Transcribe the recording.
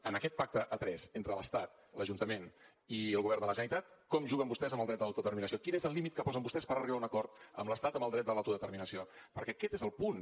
en aquest pacte a tres entre l’estat l’ajuntament i el govern de la generalitat com juguen vostès amb el dret a l’autodeterminació quin és el límit que posen vostès per arribar a un acord amb l’estat en el dret a l’autodeterminació perquè aquest és el punt